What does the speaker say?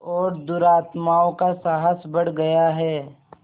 और दुरात्माओं का साहस बढ़ गया है